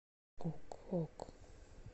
ок ок